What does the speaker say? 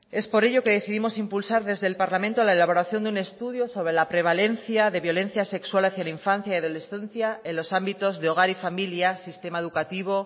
es por ello que decidimos impulsar desde el parlamento la elaboración de un estudio sobre la prevalencia de violencia sexual hacia la infancia y adolescencia en los ámbitos de hogar y familia sistema educativo